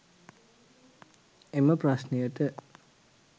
එම ප්‍රශ්නයට